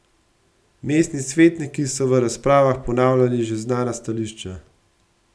Mestni svetniki so v razpravah ponavljali že znana stališča.